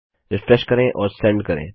refresh करें और send करें